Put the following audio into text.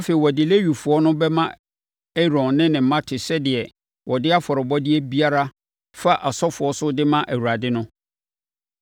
Afei, wɔde Lewifoɔ no bɛma Aaron ne ne mma te sɛ deɛ wɔde afɔrebɔdeɛ biara fa asɔfoɔ so de ma Awurade no.